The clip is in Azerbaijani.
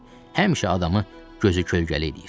Həmişə adamı gözü kölgəli eləyir.